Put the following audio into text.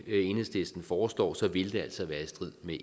enhedslisten foreslår ville det altså være i strid med